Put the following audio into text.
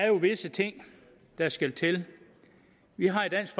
jo visse ting der skal til vi har i dansk